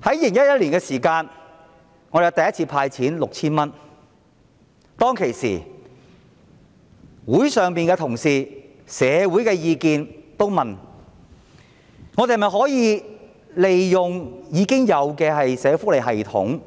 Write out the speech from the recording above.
在2011年香港政府第一次派發 6,000 元之時，當時立法會內的同事及市民大眾也問，政府可否利用現有的社會福利系統